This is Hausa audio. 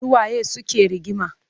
Su waye suke rigima?